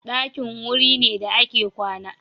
Ɗakin wuri ne da ake kwana.